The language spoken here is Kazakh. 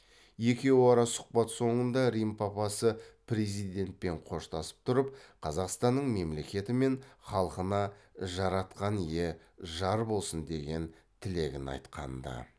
екеуара сұхбат соңында рим папасы президентпен қоштасып тұрып қазақстанның мемлекеті мен халқына жаратқан ие жар болсын деген тілегін айтқан ды